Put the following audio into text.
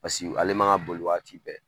Paseke ale man ka boli waati bɛɛ